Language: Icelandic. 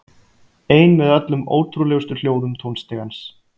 Ein með öllum ótrúlegustu hljóðum tónstigans.